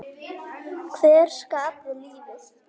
Hver skapaði lífið?